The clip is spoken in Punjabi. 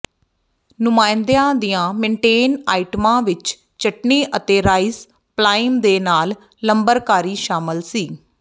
ਨੁਮਾਇੰਦਿਆਂ ਦੀਆਂ ਮੇਨਟੇਨ ਆਈਟਮਾਂ ਵਿੱਚ ਚਟਨੀ ਅਤੇ ਰਾਈਸ ਪਲਾਇਮ ਦੇ ਨਾਲ ਲੰਬਰ ਕਾਰੀ ਸ਼ਾਮਲ ਸੀ